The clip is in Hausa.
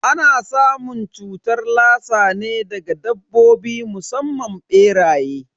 Ana samun cutar lassa ne daga dabbobi musamman beraye.